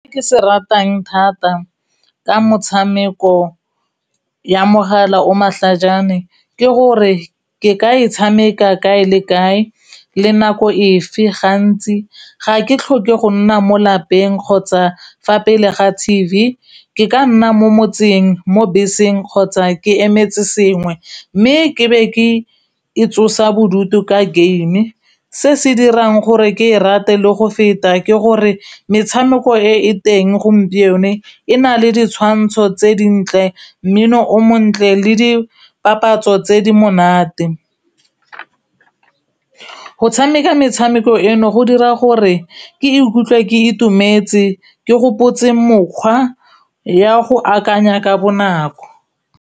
Se ke se ratang thata ka motshameko ya mogala o matlhajana ke gore ke ka e tshameka kae le kae le nako efe gantsi ga ke tlhoke go nna mo lapeng kgotsa fa pele ga T_V ke ka nna mo motseng, mo beseng kgotsa ke emetse sengwe mme ke be ke e tsosa bodutu ka game se se dirang gore ke e rate le go feta ke gore metshameko e teng gompieno e na le ditshwantsho tse dintle mmino o montle le dipapatso tse di monate, go tshameka metshameko eno go dira gore ke ikutlwa ke itumetse ke gopotse mokgwa ya go akanya ka bonako.